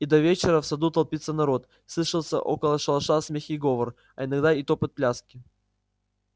и до вечера в саду толпится народ слышится около шалаша смех и говор а иногда и топот пляски